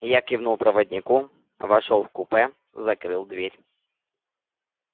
я кивнул проводнику вошёл в купе закрыл дверь